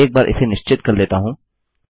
मैं एक बार इसे निश्चित कर लेता हूँ